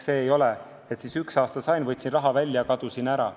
Ei ole nii, et üks aasta võtsin raha välja ja kadusin.